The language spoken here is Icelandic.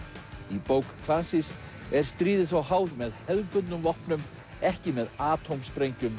í bók Clancys er stríðið þó háð með hefðbundnum vopnum ekki með